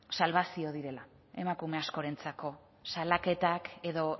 salbazioa direla emakume askorentzako salaketak edo